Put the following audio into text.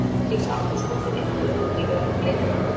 Þá var Arna Dís Arnþórsdóttir einnig örugg í vörn Blika.